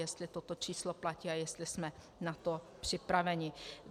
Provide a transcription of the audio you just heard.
Jestli toto číslo platí a jestli jsme na to připraveni.